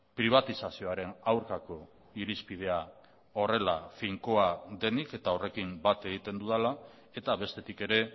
pribatizazioaren aurkako irizpidea horrela finkoa denik eta horrekin bat egiten dudala eta bestetik ere